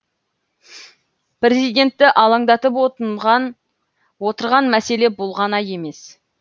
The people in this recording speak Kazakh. президентті алаңдатып отырған мәселе бұл ғана емес